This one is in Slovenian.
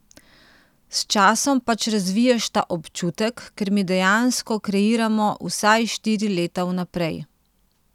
S časom pač razviješ ta občutek, ker mi dejansko kreiramo vsaj štiri leta vnaprej.